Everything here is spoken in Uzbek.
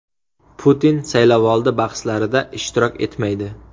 Putin saylovoldi bahslarida ishtirok etmaydi.